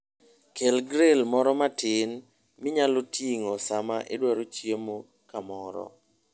Kel grill moro matin minyalo ting'o sama idwaro chiemo kamoro.